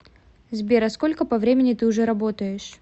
сбер а сколько по времени ты уже работаешь